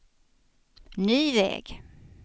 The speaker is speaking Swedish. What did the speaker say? ny väg